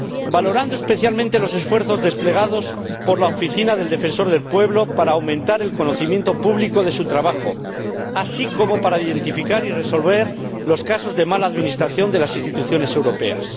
Valoramos especialmente los esfuerzos desplegados por la Oficina del Defensor del Pueblo para aumentar el conocimiento público de su trabajo, así como para identificar y resolver los casos de mala administración de las instituciones europeas.